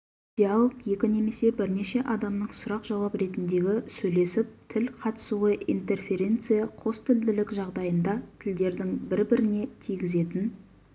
диалог екі немесе бірнеше адамның сұрақ-жауап ретіндегі сөйлесіп тіл қатысуы интерференция қостілділік жағдайында тілдердің бір-біріне тигізетін